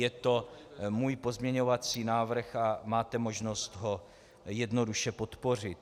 Je to můj pozměňovací návrh a máte možnost ho jednoduše podpořit.